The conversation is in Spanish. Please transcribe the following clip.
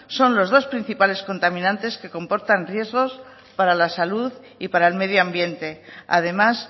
son los dos principales contaminantes que comportan riesgos para la salud y para el medio ambiente además